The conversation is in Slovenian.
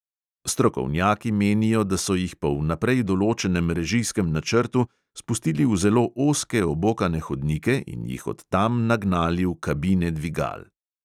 Strokovnjaki menijo, da so jih po vnaprej določenem režijskem načrtu spustili v zelo ozke obokane hodnike in jih od tam nagnali v kabine dvigal.